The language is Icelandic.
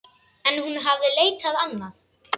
En hún hafði leitað annað.